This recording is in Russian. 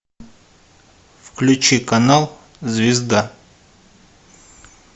включи канал звезда